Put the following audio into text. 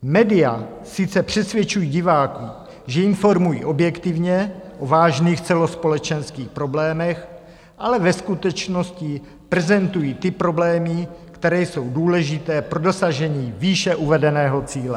Média sice přesvědčují diváky, že informují objektivně o vážných celospolečenských problémech, ale ve skutečnosti prezentují ty problémy, které jsou důležité pro dosažení výše uvedeného cíle.